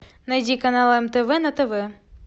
найди канал мтв на тв